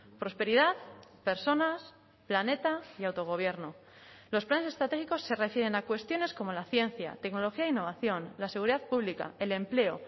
prosperidad personas planeta y autogobierno los planes estratégicos se refieren a cuestiones como la ciencia tecnología e innovación la seguridad pública el empleo